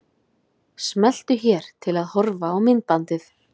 Smelltu hér til að horfa á myndbandið.